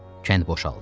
Kənd boşaldı.